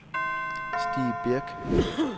Stig Birk